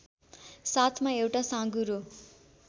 साथमा एउटा साँघुरो